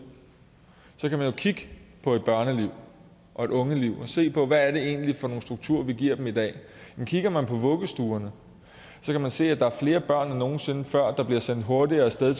kan man jo kigge på et børneliv og et ungeliv og se på hvad det egentlig er for nogle strukturer vi giver dem i dag kigger man på vuggestuerne kan man se at der er flere børn end nogen sinde før der bliver sendt hurtigere af sted